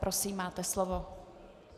Prosím, máte slovo.